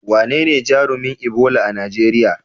Wanene jarumin Ebola a Najeriya?